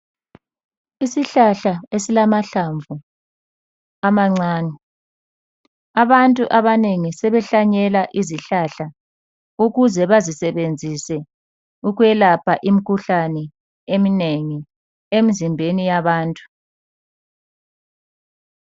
Isihlahla esilamahlamvu amancane. Abantu abanengi sebehlanyela izihlahla ukuze bazisebenzise ukwelapha imikhuhlane eminengi emzimbeni yabantu.